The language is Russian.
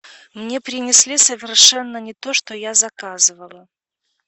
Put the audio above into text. мне принесли совершенно не то что я заказывала